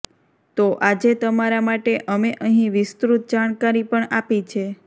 તો આજે તમારા માટે અમે અહીં વિસ્તૃત જાણકારી પણ આપી છે